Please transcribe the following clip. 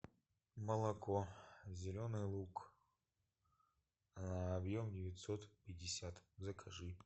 молоко зеленый луг объем девятьсот пятьдесят закажи